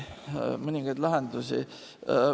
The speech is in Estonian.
Mõningaid lahendusi.